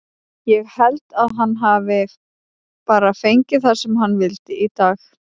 Ég held að hann hafi bara fengið það sem hann vildi í dag.